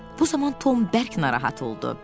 Bu zaman Tom bərk narahat oldu.